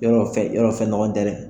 Yarɔ fɛn yarɔ fɛn nɔgɔnin tɛ dɛ!